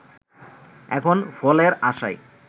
এখন ফলের আশায়